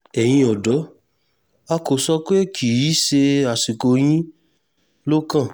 ẹ̀yin ọ̀dọ́ a kò sọ pé kì í ṣe àsìkò yín ló kàn